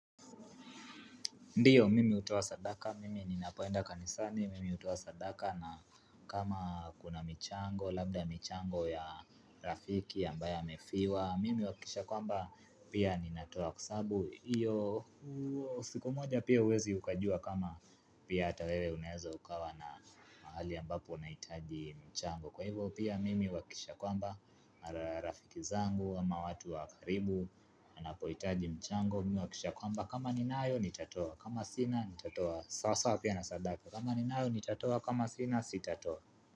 Ndiyo mimi hutoa sadaka mimi ninapoenda kanisani mimi hutoa sadaka na kama kuna michango labda michango ya rafiki ambaye amefiwa Mimi huhakisha kwamba pia ninatoa kwa sababu iyo siku moja pia huwezi ukajua kama pia ata wewe unaeza ukawa na mahali ambapo unahitaji mchango Kwa hivo pia mimi huhakisha kwamba, marafiki zangu, ama watu wa karibu, anapohitaji mchango, mimi huhakisha kwamba kama ni nayo, nitatoa, kama sina, sitatoa, sasawa pia na sadaka kama ni nayo, nitatoa, kama sina, sitatoa.